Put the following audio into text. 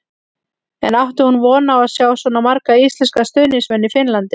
En átti hún von á að sjá svona marga íslenska stuðningsmenn í Finnlandi?